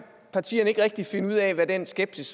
partierne ikke rigtig finde ud af hvad den skepsis